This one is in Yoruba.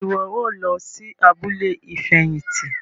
Ṣe iwọ o lọ sí abúlé ifẹhinti?